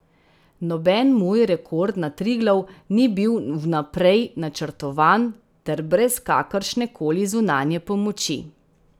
Noben moj rekord na Triglav ni bil vnaprej načrtovan ter brez kakršne koli zunanje pomoči.